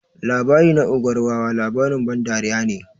Labari na ogar wawa labarin ban dariya ne.